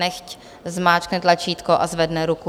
Nechť zmáčkne tlačítko a zvedne ruku.